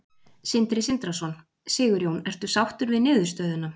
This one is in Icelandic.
Sindri Sindrason: Sigurjón, ertu sáttur við niðurstöðuna?